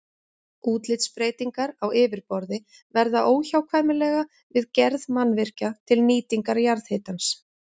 Útlitsbreytingar á yfirborði verða óhjákvæmilega við gerð mannvirkja til nýtingar jarðhitans.